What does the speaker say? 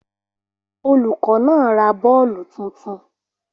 Olùkọ́ náà ra bọ́ọ̀lù tuntun